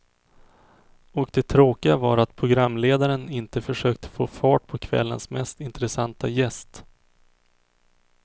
Och det tråkiga var att programledaren inte försökte få fart på kvällens mest intressanta gäst.